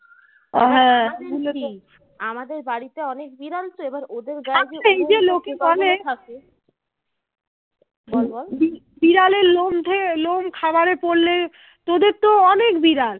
বিড়ালের লোম উঠে লোম খাবার এ পড়লে তোদের তো অনেক বিড়াল